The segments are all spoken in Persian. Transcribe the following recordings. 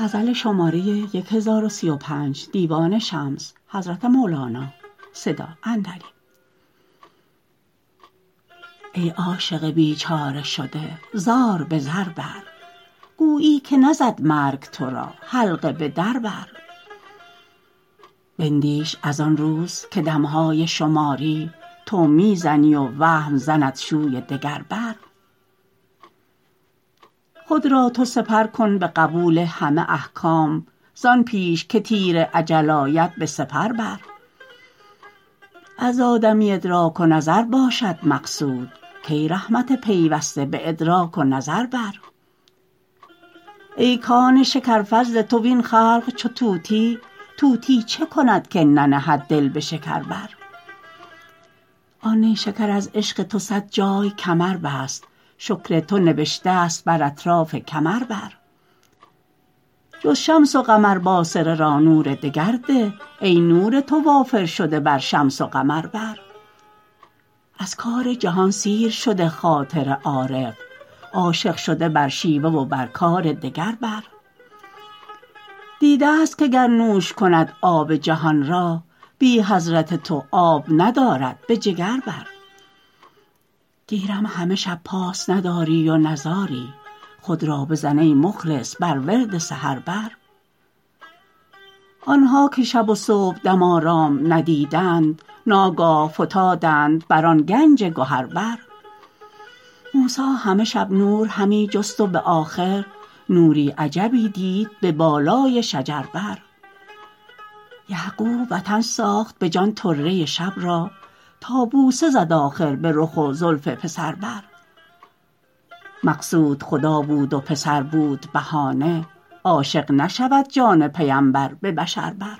ای عاشق بیچاره شده زار به زر بر گویی که نزد مرگ تو را حلقه به در بر بندیش از آن روز که دم های شماری تو می زنی و وهم زنت شوی دگر بر خود را تو سپر کن به قبول همه احکام زان پیش که تیر اجل آید به سپر بر از آدمی ادراک و نظر باشد مقصود کای رحمت پیوسته به ادراک و نظر بر ای کان شکر فضل تو وین خلق چو طوطی طوطی چه کند که ننهد دل به شکر بر آن نیشکر از عشق تو صد جای کمر بست شکر تو نبشته ست بر اطراف کمر بر جز شمس و قمر باصره را نور دگر ده ای نور تو وافر شده بر شمس و قمر بر از کار جهان سیر شده خاطر عارف عاشق شده بر شیوه و بر کار دگر بر دیده ست که گر نوش کند آب جهان را بی حضرت تو آب ندارد به جگر بر گیرم همه شب پاس نداری و نزاری خود را بزن ای مخلص بر ورد سحر بر آن ها که شب و صبحدم آرام ندیدند ناگاه فتادند بر آن گنج گهر بر موسی همه شب نور همی جست و به آخر نوری عجبی دید به بالای شجر بر یعقوب وطن ساخت به جان طره شب را تا بوسه زد آخر به رخ و زلف پسر بر مقصود خدا بود و پسر بود بهانه عاشق نشود جان پیمبر به بشر بر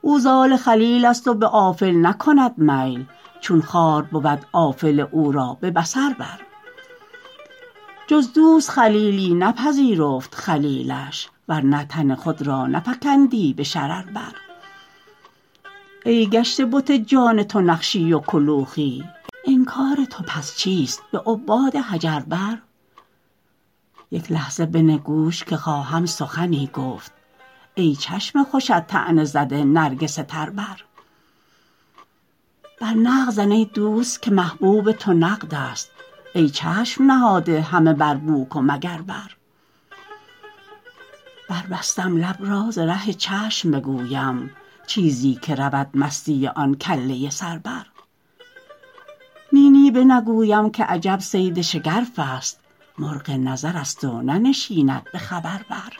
او ز آل خلیل ست و به آفل نکند میل چون خار بود آفل او را به بصر بر جز دوست خلیلی نپذیرفت خلیلش ور نه تن خود را نفکندی به شرر بر ای گشته بت جان تو نقشی و کلوخی انکار تو پس چیست به عباد حجر بر یک لحظه بنه گوش که خواهم سخنی گفت ای چشم خوشت طعنه زده نرگس تر بر بر نقد زن ای دوست که محبوب تو نقدست ای چشم نهاده همه بر بوک و مگر بر بربستم لب را ز ره چشم بگویم چیزی که رود مستی آن کله سر بر نی نی بنگویم که عجب صید شگرف است مرغ نظر ست و ننشیند به خبر بر